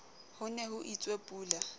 ho ne ho itswe pula